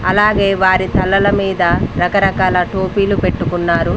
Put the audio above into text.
అలాగే వారి తలల మీద రకరకాల టోపీలు పెట్టుకున్నారు.